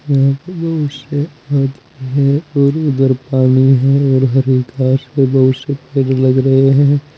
यहां पे बहुत से आदमी हैं और उधर पानी है और हरे घास के बहुत से पेड़ लग रहे है।